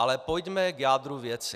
Ale pojďme k jádru věci.